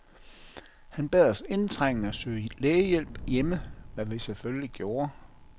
Han bad os indtrængende søge lægehjælp hjemme, hvad vi selvfølgelig gjorde.